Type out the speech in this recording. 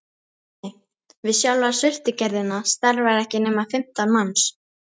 Nei, við sjálfa sultugerðina starfa ekki nema fimmtán manns